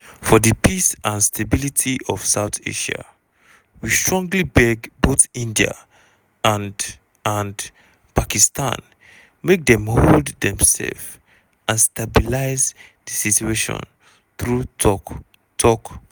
for di peace and stability of south asia we strongly beg both india and and pakistan make dem hold demsef and stabilise di situation through tok-tok."